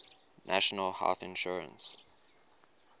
national health insurance